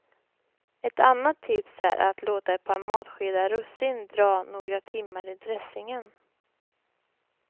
Ett annat tips är att låta ett par matskedar russin dra några timmar i dressingen.